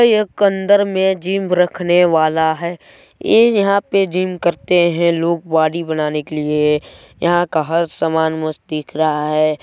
एक अंदर में जिम रखने वाला है ऐ यहाँ पर जिम करते है लोग बॉडी बनाने के लिए यहाँ का हर सामान मस्त दिख रहा है।